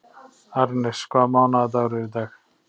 Arnes, hvaða mánaðardagur er í dag?